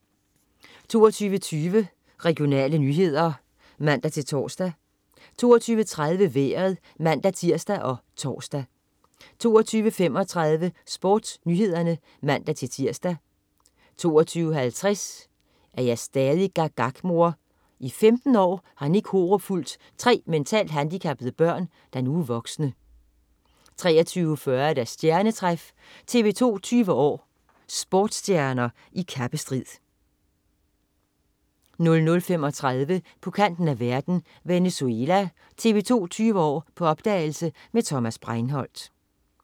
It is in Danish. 22.20 Regionale nyheder (man-tors) 22.30 Vejret (man-tirs og tors) 22.35 SportsNyhederne (man-tirs) 22.50 Er jeg stadig gak gak mor? I 15 år har Nick Horup fulgt tre mentalt handicappede børn, der nu er voksne 23.40 Stjernetræf. TV 2 20 år: Sportsstjerner i kappestrid 00.35 På kanten af verden. Venezuela. TV 2 20 år: På opdagelse med Thomas Breinholt